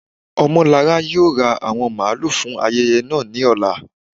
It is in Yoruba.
Omolára yóò rá awọn mààlù fún ayẹyẹ naa ni ọ̀là.